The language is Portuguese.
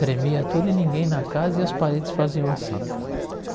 Tremia tudo e ninguém na casa e as paredes faziam assim.